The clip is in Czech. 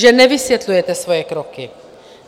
Že nevysvětlujete svoje kroky.